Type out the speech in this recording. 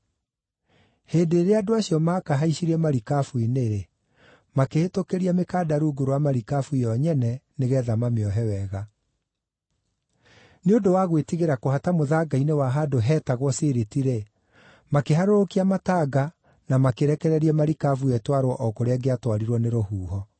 Hĩndĩ ĩrĩa andũ acio maakahaicirie marikabu-inĩ, makĩhĩtũkĩria mĩkanda rungu rwa marikabu yo nyene nĩgeetha mamĩohe wega. Nĩ ũndũ wa gwĩtigĩra kũhata mũthanga-inĩ wa handũ heetagwo Siriti-rĩ, makĩharũrũkia matanga na makĩrekereria marikabu ĩyo ĩtwarwo o kũrĩa ĩngĩatwarirwo nĩ rũhuho.